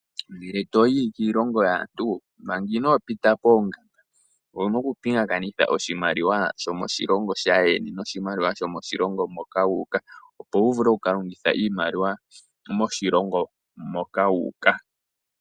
Ngele to yi kiilongo yaantu manga inoo pita poongamba owuna okupingakanitha oshimaliwa shomoshilongo shaandjeni noshimaliwa shomoshilongo moka wuuka opo wu vule okukalongitha iimaliwa moshilongo moka wuuka.